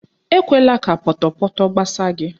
Ekwela ka pọtọpọtọ gbasaa gị.